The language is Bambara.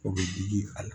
O bɛ digi a la